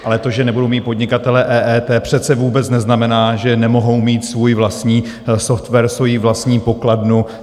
Ale to, že nebudou mít podnikatelé EET, přece vůbec neznamená, že nemohou mít svůj vlastní software, svoji vlastní pokladnu.